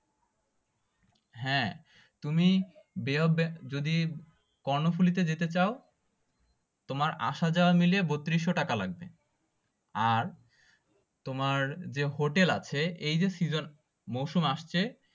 হ্যাঁ তুমি bay of যদি কর্ণফুলী তে যেতে চাও তোমার আসা যাওয়া মিলে বত্রিশশো টাকা লাগবে আর তোমার যে হোটেল আছে এই যে season মরসুম আসছে